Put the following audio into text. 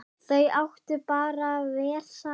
Þau áttu bara vel saman!